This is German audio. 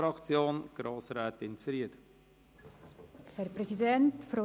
Für die SP-JUSO-PSA-Fraktion spricht Grossrätin Zryd.